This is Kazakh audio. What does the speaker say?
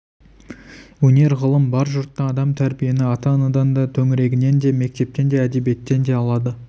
өнер ғылым бар жұртта адам тәрбиені ата-анадан да төңірегінен де мектептен де әдебиеттен де алады